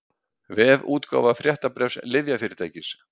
Vefútgáfa fréttabréfs lyfjafyrirtækis